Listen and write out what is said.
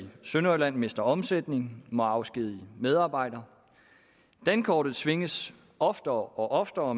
sønderjylland mister omsætning må afskedige medarbejdere dankortet svinges oftere og oftere og